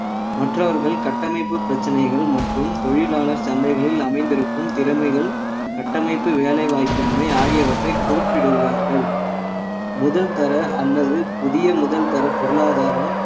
மற்றவர்கள் கட்டமைப்பு பிரச்சனைகள் மற்றும் தொழிலாளர் சந்தைகளில் அமைந்திருக்கும் திறமைகள் கட்டமைப்பு வேலைவாய்ப்பின்மை ஆகியவற்றை குறிப்பிடுகிறார்கள் முதல் தர அல்லது புதிய முதல் தர பொருளாதாரம்